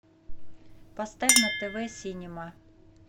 поставь на тв синема